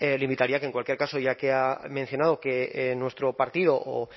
le invitaría a que en cualquier caso ya que ha mencionado que nuestro partido o